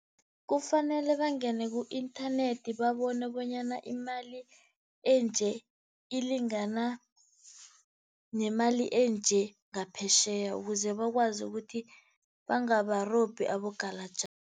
Kufanele bangene ku-inthanethi babone bonyana imali enje ilingana nemali enje ngaphetjheya ukuze bakwazi ukuthi bangabarobhi abogalajani.